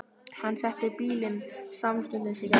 Hann setti bílinn samstundis í gang.